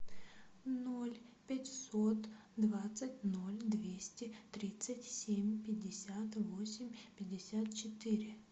ноль пятьсот двадцать ноль двести тридцать семь пятьдесят восемь пятьдесят четыре